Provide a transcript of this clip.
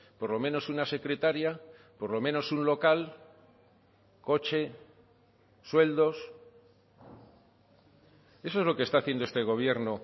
por lo menos una secretaria por lo menos un local coche sueldos eso es lo que está haciendo este gobierno